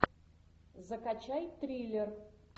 закачай триллер